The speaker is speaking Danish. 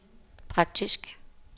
praktisk